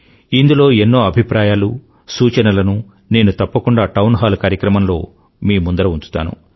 ఇందులో ఎన్నో అభిప్రాయాలు సూచనలనూ నేను తప్పకుండా టౌన్ హాల్ కార్యక్రమంలో మీ ముందర ఉంచుతాను